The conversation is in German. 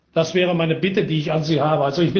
setzen. Das wäre meine Bitte, die ich an